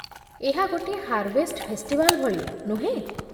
ଏହା ଗୋଟିଏ harvest festival ଭଳି, ନୁହେଁ?